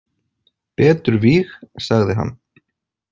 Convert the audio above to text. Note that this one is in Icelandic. Betur víg, sagði hann.